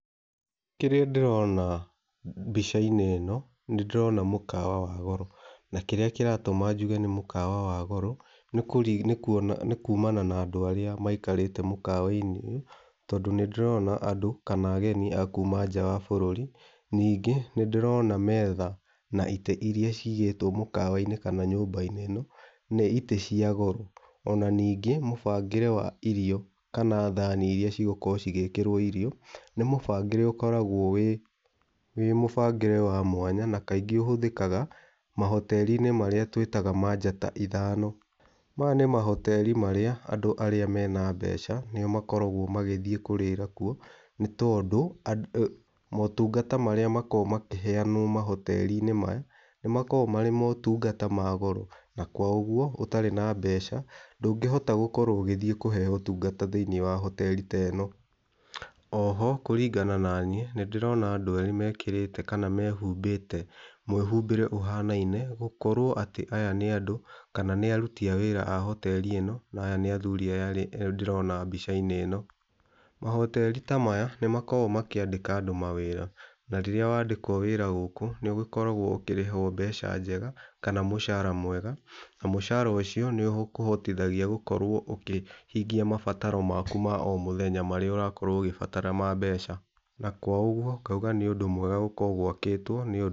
Kĩrĩa ndĩrona mbica-inĩ ĩno, nĩ ndĩrona mũkawa wa goro. Na kĩrĩa kĩratũma njuge nĩ mũkawa wa goro nĩ kumana na andũ arĩa maikarĩte mũkawa-inĩ ũyũ. Tondũ nĩ ndĩrona andũ kana ageni a kuma nja wa bũrũri. Ningĩ, nĩ ndĩrona metha na itĩ irĩa ciigĩtwo mũkawa-inĩ kana nyũmba ĩno, nĩ itĩ cia goro. Ona ningĩ mũbangĩre wa irio kana thani irĩa cigũkorwo cigĩkĩrwo irio nĩ mũbangĩre ũkoragwo wĩ, wĩ mũbangĩre wa mwanya na kaingĩ ũhũthĩkaga marĩa twĩtaga ma njata ithano. Maya nĩ ma hoteri marĩa andũ arĩa mena mbeca mathiaga kũrĩra kuo nĩ tondũ motungata marĩa makoragwo makĩheanwo mahoteri maya nĩ makoragwo marĩ motungata ma goro. Na koguo ũtarĩ na mbeca ndũngĩhota gũkorwo ũgĩthiĩ kũheo ũtungata hoteri-inĩ ĩno. Oho kũringana na niĩ, nĩ ndĩrona andũ erĩ mekĩrĩte kana mehumbĩte mwĩhumbĩre ũhanaine. Gũkorwo atĩ aya nĩ andũ kana nĩ aruti a wĩra a hoteri ĩno na aya nĩ athuri aya erĩ ndĩrona mbica-inĩ ĩno. Mahoteri ta maya, nĩ makoragwo makĩandĩka andũ mawĩra na rĩrĩa wandĩkwo wĩra gũkũ, nĩ ũgĩkoragwo ũkĩrĩhwo mbeca njega kana mũcara mwega. Na mũcara ũcio nĩ ũkũhotithagia gũkorwo ũkĩhingia mabataro mako ma o mũthenya marĩa ũrakorwo ũgĩbatara ma mbeca. Na kwa ũguo, ngauga nĩ ũndũ mwega gũkorwo gwakĩtwo nĩ ũndũ mwega.